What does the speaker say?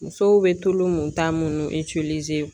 Musow bɛ tulu mun ta munnu